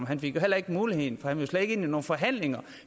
han fik heller muligheden for han ville slet ikke ind i nogen forhandlinger